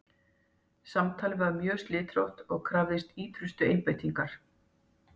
Samtalið var mjög slitrótt og krafðist ýtrustu einbeitingar.